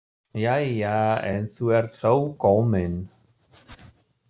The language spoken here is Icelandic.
Jæja, en þú ert þó komin.